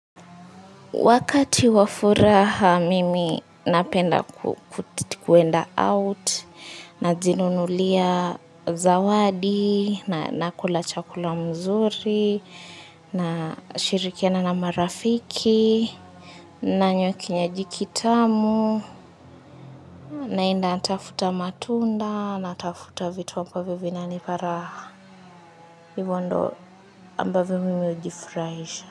Wakati wa furaha, mimi napenda kuenda out, najinunulia zawadi, na nakula chakula mzuri, nashirikiana na marafiki, nanywa kinywaji kitamu, naenda tafuta matunda, natafuta vitu ambavyo vinanipa raha. Hivo ndo ambavyo mimi hujifurahisha.